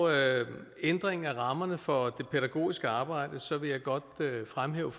ændring af rammerne for det pædagogiske arbejde vil jeg godt fremhæve